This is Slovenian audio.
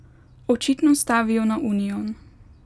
Očitno stavijo na union.